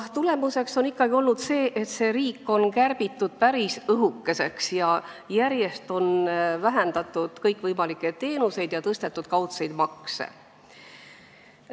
Tagajärg on olnud aga ikkagi see, et riik on kärbitud päris õhukeseks, järjest on vähendatud kõikvõimalikke teenuseid ja tõstetud kaudseid makse.